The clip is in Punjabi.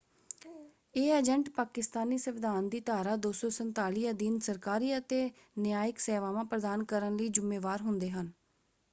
ਇਹ ਏਜੰਟ ਪਾਕਿਸਤਾਨੀ ਸੰਵਿਧਾਨ ਦੀ ਧਾਰਾ 247 ਅਧੀਨ ਸਰਕਾਰੀ ਅਤੇ ਨਿਆਇਕ ਸੇਵਾਵਾਂ ਪ੍ਰਦਾਨ ਕਰਨ ਲਈ ਜ਼ੁੰਮੇਵਾਰ ਹੁੰਦੇ ਹਨ।